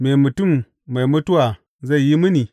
Me mutum mai mutuwa zai yi mini?